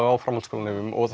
á framhaldsskólum og